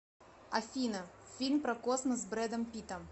афина фильм про космос с брэдом питтом